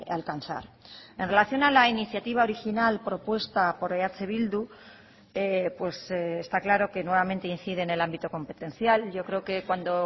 alcanzar en relación a la iniciativa original propuesta por eh bildu está claro que nuevamente incide en el ámbito competencial yo creo que cuando